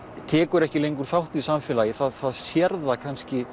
tekur ekki lengur þátt í samfélagi það sér það kannski